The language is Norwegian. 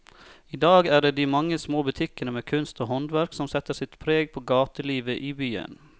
I dag er det de mange små butikkene med kunst og håndverk som setter sitt preg på gatelivet i byen.